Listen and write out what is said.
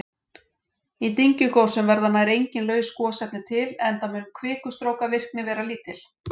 Í dyngjugosum verða nær engin laus gosefni til enda mun kvikustrókavirkni vera lítil.